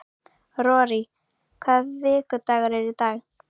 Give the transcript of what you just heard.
Rorí, hvaða vikudagur er í dag?